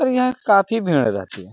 और यहाँ काफी भीड़ रहती है ।